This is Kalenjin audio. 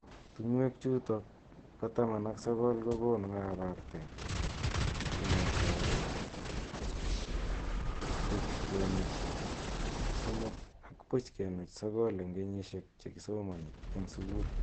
Tungwek chutok ba taman ak sokol kokonu kaprte kongetee puch kenuch somok ak puch kenuch sokol eng kenyishek che kisomani eng sukul.